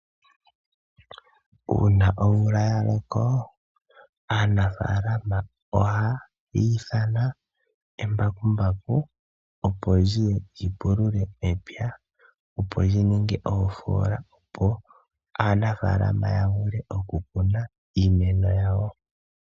Uuna omvula yaloko aanafalama ohaya ithana embakumbaku opo liye lyipulule mepya opo lyininge oofola opo aanafalama yavule okukuna iimeno yawo.